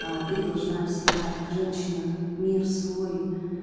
а ты должна всегда как женщина мир свой